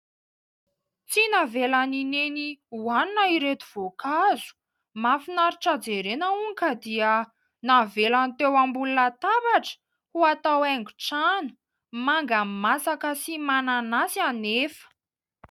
Tsy navelan'i Neny hohanina ireto voankazo, mahafinaritra jerena hono ka dia navelany teo ambony latabatra ho atao haingo trano, manga masaka sy mananasy anefa.